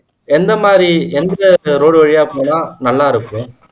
எந்த மாதிரி எந்த road வழியா போனா நல்லா இருக்கும்